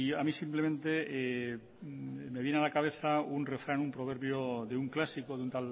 a mí simplemente me viene a la cabeza un refrán proverbio de un clásico de un